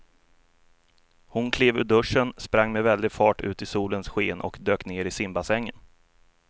Hon klev ur duschen, sprang med väldig fart ut i solens sken och dök ner i simbassängen.